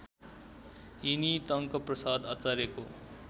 यिनी टङ्कप्रसाद आचार्यको